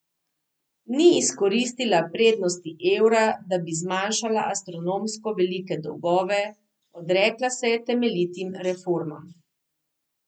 Ni izkoristila prednosti evra, da bi zmanjšala astronomsko velike dolgove, odrekla se je temeljitim reformam.